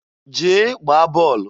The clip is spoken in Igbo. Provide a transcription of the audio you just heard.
Jee gbaa bọọlụ!